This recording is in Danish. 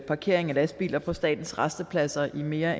parkering af lastbiler på statens rastepladser i mere